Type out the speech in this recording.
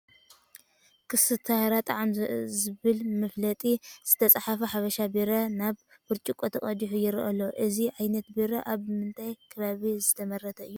ኮስታራ ጣዕም ዝብል መፋለጢ ዝተፃሕፎ ሓበሻ ቢራ ናብ ብርጭቆ ተቐዲሑ ይርአ ኣሎ፡፡ እዚ ዓይነት ቢራ ኣብ ምንታይ ከባቢ ዝምረት እዩ?